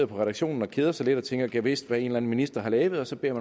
på redaktionen og keder sig lidt og tænker gad vist hvad en eller anden minister har lavet så beder